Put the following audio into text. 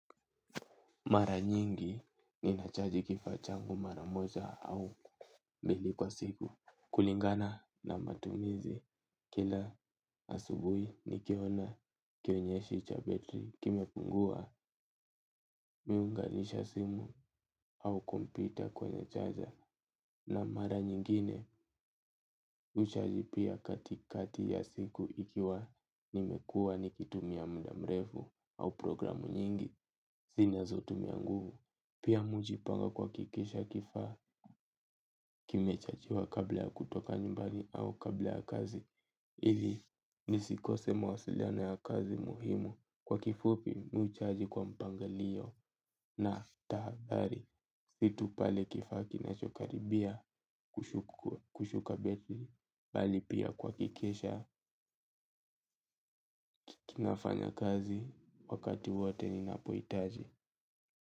Mara nyingi ninachaji kifaa changu mara moja au mbili kwa siku kulingana na matumizi kila asubuhi nikiona kionyeshi cha betri kimepungua mi huunganisha simu au kompyuta kwenye chaja. Na mara nyingine mi huchaji pia katikati ya siku ikiwa nimekuwa nikitumia muda mrefu au programu nyingi zinazotumia nguvu. Pia mi hujipanga kuhakikisha kifaa kimechajiwa kabla kutoka nyumbani au kabla kazi. Ili nisikose mawasiliano ya kazi muhimu. Kwa kifupi mi huchaji kwa mpangilio na tahadhari kitu pale kifaa kinachokaribia, kushuka betri, bali pia kuhakikisha, kinafanya kazi, wakati wote ni napohitaji.